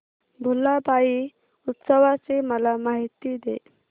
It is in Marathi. भुलाबाई उत्सवाची मला माहिती दे